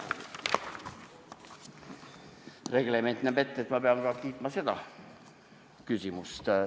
Reglement näeb ette, et ma pean kiitma ka seda küsimust.